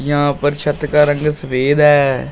यहां पर छत का रंग सफ़ेद है।